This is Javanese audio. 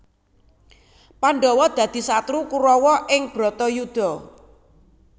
Pandhawa dadi satru Kurawa ing Bharatayudha